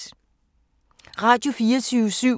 Radio24syv